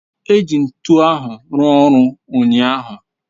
eji ntu ahu rua oru unyahu